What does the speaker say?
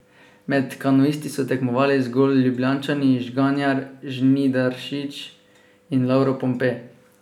Med kanuisti so tekmovali zgolj Ljubljančani Žganjar, Žnidaršič in Lovro Pompe.